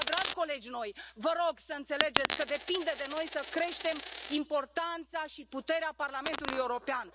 De aceea, dragi colegi noi, vă rog să înțelegeți că depinde de noi să creștem importanța și puterea Parlamentului European.